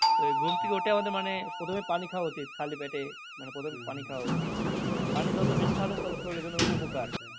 ঘুম থেকে উঠে আমাদের মানে প্রথমে পানি খাওয়া উচিত খালি পেটে মানে প্রথমে উচিত। পানি যত বেশি খাওয়া যাই তত শরীরের জন্য